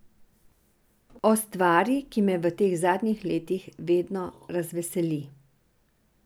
O stvari, ki me v teh zadnjih letih vedno razveseli.